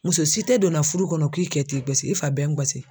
Muso si tɛ donna furu kɔnɔ k'i kɛ t'i gasi i fa bɛ n gasi.